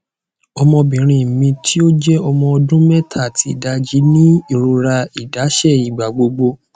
ọmọbinrin mi ti o jẹ ọmọ ọdun mẹta ati idaji ni irora idaṣẹ igbagbogbo